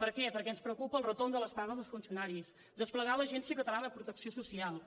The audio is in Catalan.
per què perquè ens preocupa el retorn de les pagues dels funcionaris desplegar l’agència catalana de protecció social